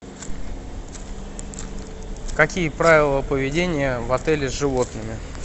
какие правила поведения в отеле с животными